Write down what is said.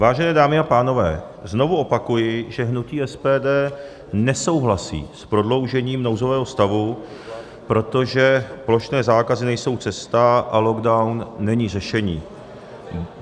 Vážené dámy a pánové, znovu opakuji, že hnutí SPD nesouhlasí s prodloužením nouzového stavu, protože plošné zákazy nejsou cesta a lockdown není řešení.